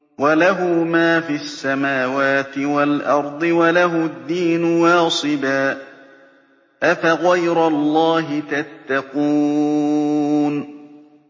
وَلَهُ مَا فِي السَّمَاوَاتِ وَالْأَرْضِ وَلَهُ الدِّينُ وَاصِبًا ۚ أَفَغَيْرَ اللَّهِ تَتَّقُونَ